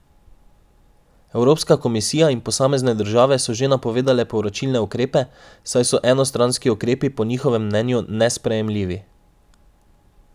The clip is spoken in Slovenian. Evropska komisija in posamezne države so že napovedale povračilne ukrepe, saj so enostranski ukrepi po njihovem mnenju nesprejemljivi.